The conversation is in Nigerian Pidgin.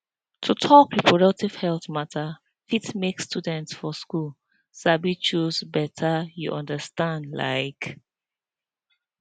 to talk reproductive health matter fit make students for school sabi choose better you understand like